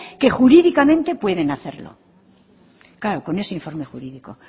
que jurídicamente pueden hacerlo claro con ese informe jurídico